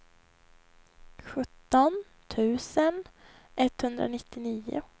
sjutton tusen etthundranittionio